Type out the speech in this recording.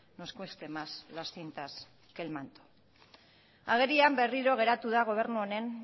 nos cueste más las cintas que el manto agerian berriro geratu da gobernu honen